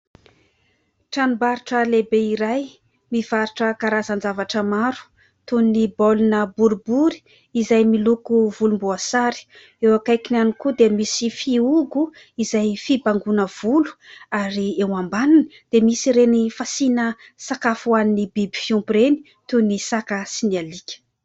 Tranombarotra lehibe iray mivarotra karazan-javatra maro toy ny baolina boribory izay miloko volomboasary ; eo akaikiny ihany koa dia misy fihogo izay fibangoana volo ary eo ambaniny dia misy ireny fasiana sakafo ho an'ny biby fiompy ireny, toy ny saka sy ny alika.